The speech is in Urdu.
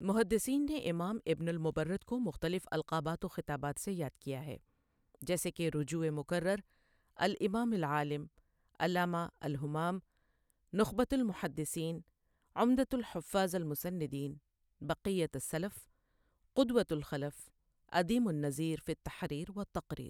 محدثین نے امام ابن المبرد کو مختلف القابات و خطابات سے یاد کیا ہے جیسے کہ رجوع مکرر الامام العالم، علامہ الہمام، نخبۃ المحدثین، عمدۃ الحفاظ المسندین، بقیۃ السلف، قدوۃ الخلف، عدیم النظیر فی التحریر و التقریر۔